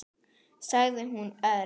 sagði hún örg.